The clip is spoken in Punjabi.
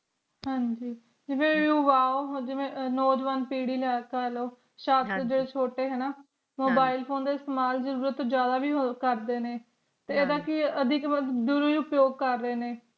ਤੇ ਯੁਵਾ ਜੀਵਨ ਨੌਜਵਾਨ ਪੀੜਦ੍ਹੀ ਛੋਟੇ ਹੈ ਨਾ mobile phone ਦਾ ਇਸਤਮਾਲ ਵੇ ਜਾਰੋਰਾਤ ਤੋਂ ਜਿਆਦਾ ਵੇ ਹੋਰ ਕਰਦੇ ਹੈ ਨਾ ਤੇ ਐਡਾ ਵੇ ਕਿ ਦੁਰੁੱਪਯੋਗ ਕਰਰਾਏ ਨੇ